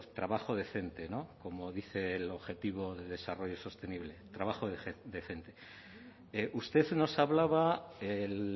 trabajo decente como dice el objetivo de desarrollo sostenible trabajo decente usted nos hablaba el